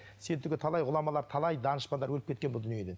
сен түгіл талай ғұламалар талай данышпандар өліп кеткен бұл дүниеден